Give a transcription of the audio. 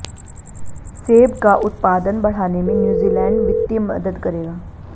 सेब का उत्पादन बढ़ाने में न्यूजीलैंड वित्तीय मदद करेगा